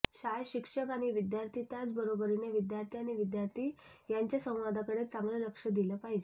शाळेत शिक्षक आणि विद्यार्थी त्याचबरोबरीने विद्यार्थी आणि विद्यार्थी यांच्या संवादाकडे चांगले लक्ष दिले पाहिजे